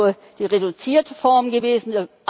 Es wäre nur die reduzierte Form gewesen.